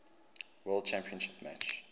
world championship match